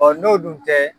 n'o dun tɛ